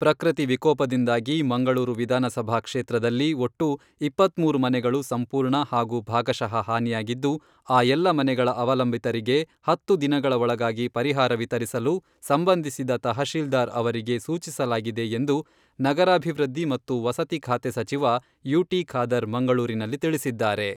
ಪ್ರಕೃತಿ ವಿಕೋಪದಿಂದಾಗಿ ಮಂಗಳೂರು ವಿಧಾನಸಭಾ ಕ್ಷೇತ್ರದಲ್ಲಿ ಒಟ್ಟು ಇಪ್ಪತ್ಮೂರು ಮನೆಗಳು ಸಂಪೂರ್ಣ ಹಾಗೂ ಭಾಗಶಃ ಹಾನಿಯಾಗಿದ್ದು, ಆ ಎಲ್ಲಾ ಮನೆಗಳ ಅವಲಂಬಿತರಿಗೆ ಹತ್ತು ದಿನಗಳ ಒಳಗಾಗಿ ಪರಿಹಾರ ವಿತರಿಸಲು ಸಂಬಂಧಿಸಿದ ತಹಶೀಲ್ದಾರ್ ಅವರಿಗೆ ಸೂಚಿಸಲಾಗಿದೆ ಎಂದು ನಗರಾಭಿವೃದ್ಧಿ ಮತ್ತು ವಸತಿ ಖಾತೆ ಸಚಿವ ಯುಟಿ ಖಾದರ್ ಮಂಗಳೂರಿನಲ್ಲಿ ತಿಳಿಸಿದ್ದಾರೆ.